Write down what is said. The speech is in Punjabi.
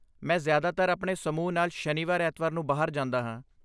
ਮੈਂ ਜ਼ਿਆਦਾਤਰ ਆਪਣੇ ਸਮੂਹ ਨਾਲ ਸ਼ਨੀਵਾਰ ਐਤਵਾਰ ਨੂੰ ਬਾਹਰ ਜਾਂਦਾ ਹਾਂ